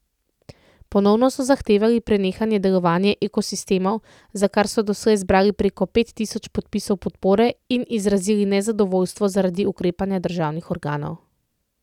Ponovno so zahtevali prenehanje delovanja Ekosistemov, za kar so doslej zbrali preko pet tisoč podpisov podpore, in izrazili nezadovoljstvo zaradi ukrepanja državnih organov.